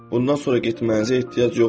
Bundan sonra getməyinizə ehtiyac yoxdur.